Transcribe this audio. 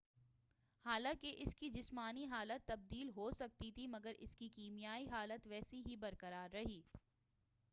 حالانکہ اسکی جسمانی حالت تبدیل ہو سکتی تھی مگر اسکی کیمیائی حالت ویسی ہی برقرار رہی